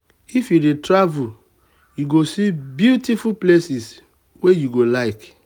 if you dey travel you go see beautiful places wey you go like.